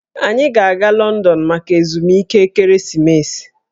Anyị ga-aga Lọndọn maka ezumike ekeresimesi